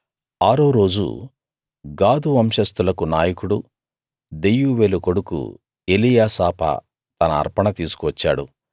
ఆరో రోజు గాదు వంశస్తులకు నాయకుడూ దెయూవేలు కొడుకు ఎలీయాసాపా తన అర్పణ తీసుకువచ్చాడు